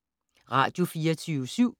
Radio24syv